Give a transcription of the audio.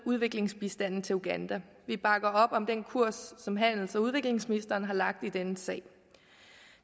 udviklingsbistanden til uganda vi bakker op om den kurs som handels og udviklingsministeren har lagt i denne sag